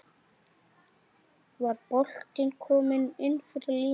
Var boltinn kominn innfyrir línuna?